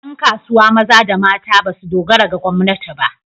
Ƴan kasuwa maza da mata ba su dogara ga gwamnati ba.